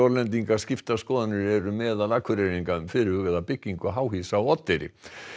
skiptar skoðanir eru meðal Akureyringa um fyrirhugaða byggingu háhýsa á Oddeyri